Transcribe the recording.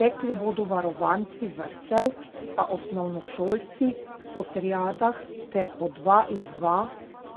Tekli bodo varovanci vrtcev, pa osnovnošolci po triadah, ter po dva in dva